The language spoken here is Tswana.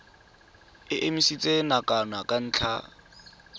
e emisitswe nakwana ka ntlha